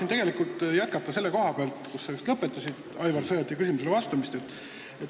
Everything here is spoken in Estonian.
Ma tahan jätkata selle koha pealt, kus sa lõpetasid Aivar Sõerdi küsimusele vastamise.